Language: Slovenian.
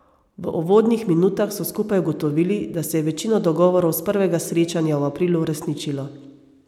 V uvodnih minutah so skupaj ugotovili, da se je večino dogovorov s prvega srečanja v aprilu uresničilo.